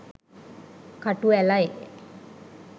කටු ඇළයි